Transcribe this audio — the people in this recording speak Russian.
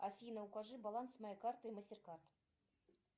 афина укажи баланс моей карты мастеркард